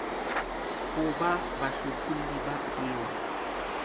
ho ba bahlopholli ba peo